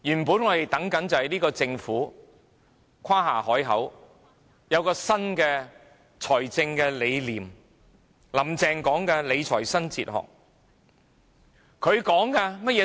這屆政府曾誇下海口，說有新的財政理念，"林鄭"提到理財新哲學。